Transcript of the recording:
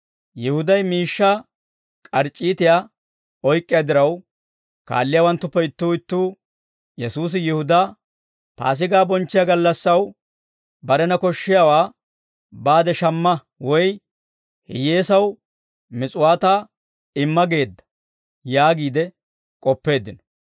Yihuday miishshaa k'arc'c'iitiyaa oyk'k'iyaa diraw, kaalliyaawanttuppe ittuu ittuu Yesuusi Yihudaa, «Paasigaa bonchchiyaa gallassaw barena koshshiyaawaa baade shamma woy hiyyeesaw mis'uwaataa imma geedda» yaagiide k'oppeeddino.